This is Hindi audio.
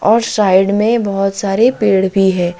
और साइड में बहुत सारे पेड़ भी है।